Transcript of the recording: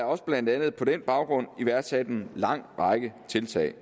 også blandt andet på den baggrund iværksat en lang række tiltag